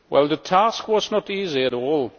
The task was not easy at all.